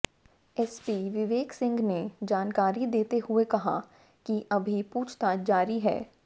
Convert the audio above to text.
SP Viveksingh ने जानकारी देते हुए कहा कि अभी पूछताछ जारी है